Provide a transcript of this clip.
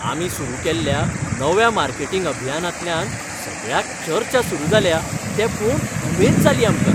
आमी सुरू केल्ल्या नव्या मार्केटिंग अभियानांतल्यान सगळ्याक चर्चा सुरू जाल्या तें पळोवन उमेद जाली आमकां.